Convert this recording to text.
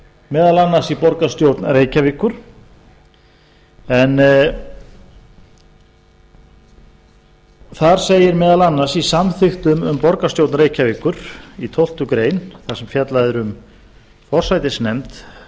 meðal annars í borgarstjórn reykjavíkur en þar segir meðal annars í samþykktum um borgarstjórn reykjavíkur í tólftu greinar þar sem fjallað er um forsætisnefnd